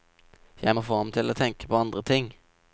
Jeg får ham til å tenke på andre ting.